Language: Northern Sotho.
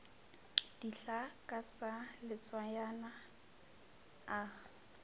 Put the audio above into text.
dihlaa ka sa letswayana a